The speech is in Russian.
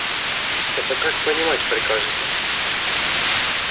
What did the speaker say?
это как понимать прикажете